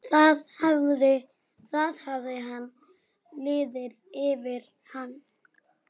Það hafði liðið yfir hana!